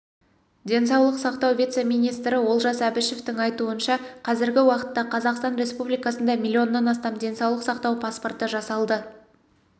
денсаулық сақтау вице-министрі олжас әбішевтің айтуынша қазіргі уақытта қазақстан республикасында миллионнан астам денсаулық сақтау паспорты жасалды